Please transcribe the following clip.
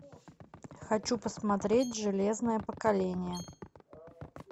хочу посмотреть железное поколение